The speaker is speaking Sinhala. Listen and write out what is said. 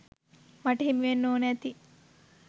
මට හිමිවෙන්න ඕන ඇති.